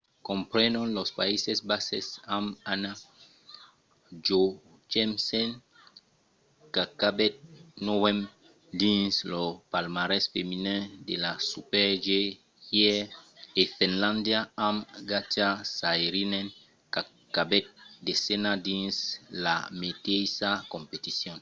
comprenon los païses basses amb anna jochemsen qu’acabèt novena dins lo palmarès feminin de la super-g ièr e finlàndia amb katja saarinen qu’acabèt desena dins la meteissa competicion